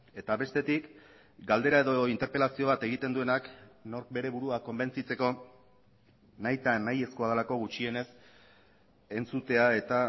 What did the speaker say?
eta bestetik galdera edo interpelazio bat egiten duenak nork bere burua konbentzitzeko nahita nahiezkoa delako gutxienez entzutea eta